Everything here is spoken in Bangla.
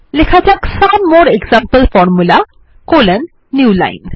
লেখা যাক some more example formulae Newline